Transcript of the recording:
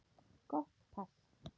Gott pass.